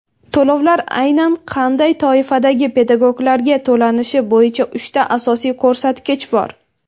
To‘lovlar aynan qanday toifadagi pedagoglarga to‘lanishi bo‘yicha uchta asosiy ko‘rsatkich bor:.